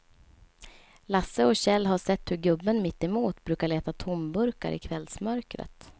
Lasse och Kjell har sett hur gubben mittemot brukar leta tomburkar i kvällsmörkret.